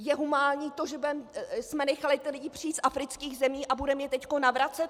Je humánní to, že jsme nechali ty lidi přijít z afrických zemí a budeme je teď navracet?